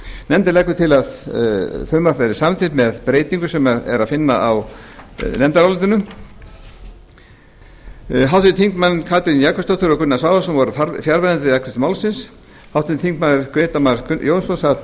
nefndin leggur til að frumvarpið verði samþykkt með breytingu sem er að finna á nefndarálitinu háttvirtir þingmenn katrín jakobsdóttir og gunnar svavarsson voru fjarverandi við afgreiðslu málsins grétar mar jónsson sat